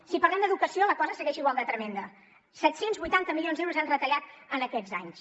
si parlem d’educació la cosa segueix igual de tremenda set cents i vuitanta milions d’euros han retallat en aquests anys